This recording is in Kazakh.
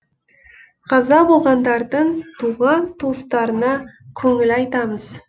қаза болғандардың туған туыстарына көңіл айтамыз